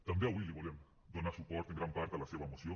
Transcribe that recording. també avui li volem donar suport en gran part a la seva moció